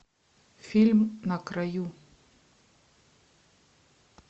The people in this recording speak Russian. фильм на краю